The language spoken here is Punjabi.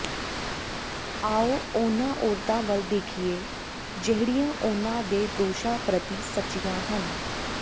ਆਓ ਉਨ੍ਹਾਂ ਔਰਤਾਂ ਵੱਲ ਦੇਖੀਏ ਜਿਹੜੀਆਂ ਉਨ੍ਹਾਂ ਦੇ ਦੋਸ਼ਾਂ ਪ੍ਰਤੀ ਸੱਚੀਆਂ ਹਨ